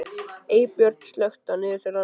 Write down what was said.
Eybjört, slökktu á niðurteljaranum.